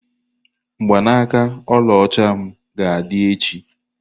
Mgbanaaka ọlaọcha m ga-adị echi.